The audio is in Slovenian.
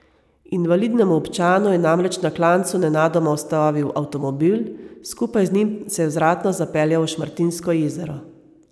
Invalidnemu občanu je namreč na klancu nenadoma ustavil avtomobil, skupaj z njim se je vzratno zapeljal v Šmartinsko jezero.